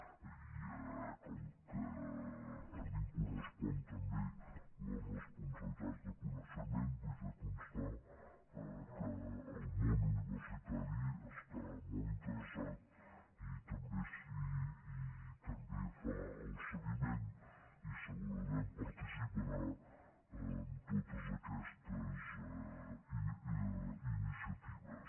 i ja que a mi em correspon també la responsabilitat de coneixement vull fer constar que el món universitari hi està molt interessat i també fa el seguiment i segurament participarà en totes aquestes iniciatives